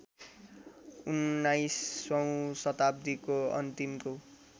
उन्नाइसौँ शताब्दीको अन्तिमको